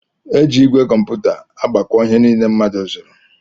Eji igwe kómputa agbako ihe niile mmadụ zụrụ.